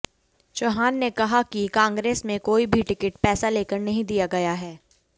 चव्हाण ने कहा कि कांग्रेस में कोई भी टिकट पैसा लेकर नहीं दिया गया है